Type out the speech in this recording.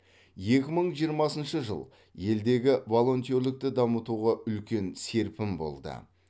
екі мың жиырмасыншы жыл елдегі волонтерлікті дамытуға үлкен серпін болды